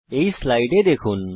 এই স্লাইডে দেখুন